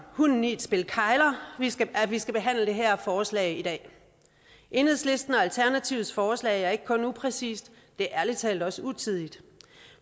hunden i et spil kegler at vi skal behandle det her forslag i dag enhedslistens og alternativets forslag er ikke kun upræcist det er ærlig talt også utidigt